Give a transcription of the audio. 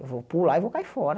Eu vou pular e vou cair fora.